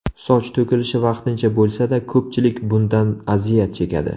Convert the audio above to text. Soch to‘kilishi vaqtincha bo‘lsa-da, ko‘pchilik bundan aziyat chekadi.